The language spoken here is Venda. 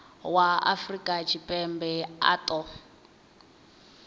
wa afrika tshipembe a ṱo